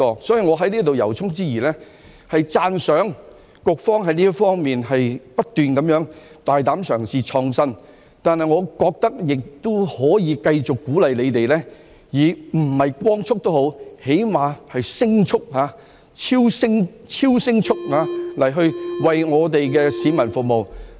所以，我要在此由衷讚揚局方不斷大膽嘗試和創新，但我覺得亦可以繼續鼓勵它們，即使不是以光速，最低限度也是以聲速、超聲速地為我們的市民服務。